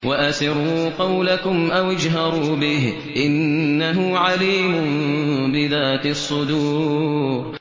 وَأَسِرُّوا قَوْلَكُمْ أَوِ اجْهَرُوا بِهِ ۖ إِنَّهُ عَلِيمٌ بِذَاتِ الصُّدُورِ